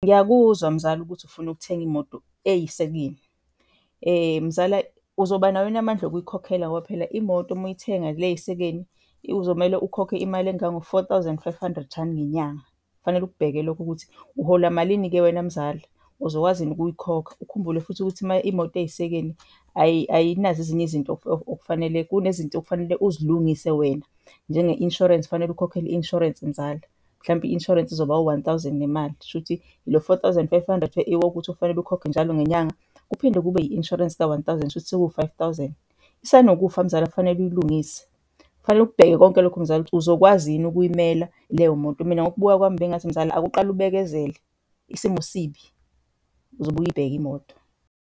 Ngiyakuzwa mzala ukuthi ufuna ukuthenga imoto eyisekeni. Mzala, uzoba nawo yini amandla okuyikhokhela ngoba phela imoto muyithenga le eyisekeni uzomele ukhokhe imali engango-four thousand five hundred rand ngenyanga. Kufanele ukubheke ukuthi uhola malini-ke wena mzala, uzokwazi yini ukuyikhokha? Ukhumbule futhi ukuthi imoto iyisekeni ayinazo ezinye izinto okufanele, kunezinto okufanele uzilungise wena. Njenge-insurance, kufanele ukhokhele i-insurance mzala, mhlampe i-insurance izoba u-one thousand nemali. Shuthi lo four thousand five hundred wokuthi ufanele ukhokhwe njalo ngenyanga, kuphinde kube i-insurance ka-one thousand, shuthi sekuwu-five thousand. Isanokufa mzala, kufanele uyilungise. Kufanele ukubheke konke lokho mzala ukuthi uzokwazi yini ukuyimela leyo moto. Mina ngokubuka kwami bengingathi mzala awuke uqale ubekezele, isimo sibi, uzobuye uyibheke imoto.